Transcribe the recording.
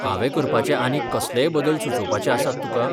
हावें करपाचे आनीक कसलेय बदल सुचोवपाचे आसात तुका?